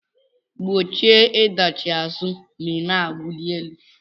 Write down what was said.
Gbochie ịdachi azụ ma ị na-awụli elu